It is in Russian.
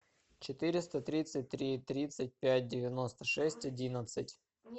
четыреста тридцать три тридцать пять девяносто шесть одиннадцать